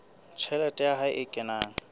tjhelete ya hae e kenang